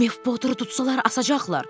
Mef Poteri tutsalar asacaqlar.